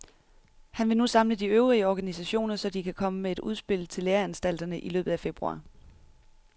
Han vil nu samle de øvrige organisationer, så de kan komme med et udspil til læreanstalterne i løbet af februar.